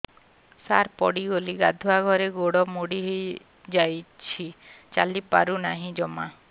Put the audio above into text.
ସାର ପଡ଼ିଗଲି ଗାଧୁଆଘରେ ଗୋଡ ମୋଡି ହେଇଯାଇଛି ଚାଲିପାରୁ ନାହିଁ ଜମା